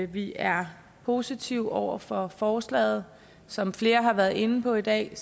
vi er positive over for forslaget som flere har været inde på i dag